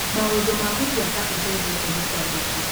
Maũndũ ma gũtua ta ũtendete mũkwandĩki